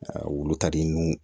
wulu ka di n ye